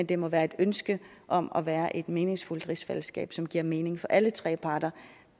det må være et ønske om at være i et meningsfuldt rigsfællesskab som giver mening for alle tre parter